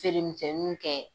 Feere misɛninw kɛ.